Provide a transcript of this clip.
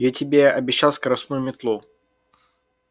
я тебе обещал скоростную метлу